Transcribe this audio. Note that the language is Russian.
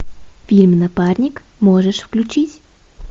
фильм напарник можешь включить